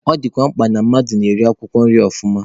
Ọ dịkwa mkpa na-mmadụ ga na-eri akwụkwọ nri ọfụma.